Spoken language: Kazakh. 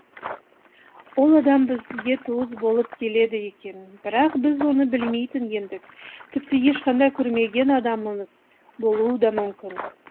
ол адам бізге туыс болып келеді екен бірақ біз оны білмейтін едік тіпті ешқашан көрмеген адамымыз болуы да мүмкін